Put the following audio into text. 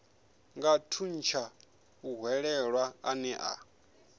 nga thuntsha muhwelelwa ane a